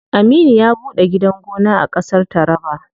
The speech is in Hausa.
Aminu ya ɓuɗe gidan gona a ƙasar taraba.